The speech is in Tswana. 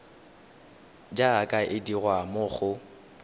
jaaka e dirwa mo go